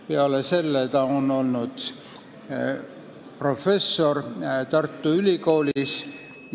Peale selle on ta olnud professor Tartu Ülikoolis.